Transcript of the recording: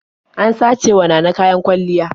An sacewa Nana kayan kwalliya.